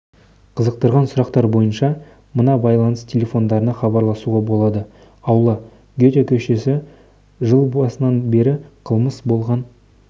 қызықтырған сұрақтар бойынша мына байланыс телефондарына хабарласуға болады аула гете көшесі жыл басынан бері қылмыс болған